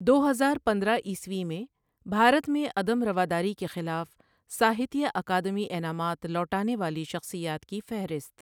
دو ہزار پندرہ عیسوی میں بھارت میں عدم رواداری کے خلاف ساہتیہ اکادمی انعامات لوٹانے والی شخصیات کی فہرست۔